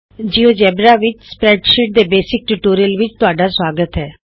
ਦੋਸਤੋ ਨਮਸਕਾਰ ਜਿਊਜੇਬਰਾ ਵਿਚ ਸਪਰੈਡਸ਼ੀਟਜ਼ ਦੇ ਬੇਸਿਕ ਟਿਯੂਟੋਰਿਅਲ ਵਿਚ ਤੁਹਾਡਾ ਸੁਆਗਤ ਹੈ